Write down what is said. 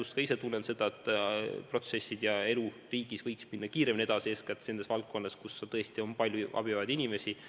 Ma ka ise tunnen, et protsessid ja elu riigis võiks minna kiiremini edasi eeskätt nendes valdkondades, kus tõesti on palju abi vajavaid inimesi.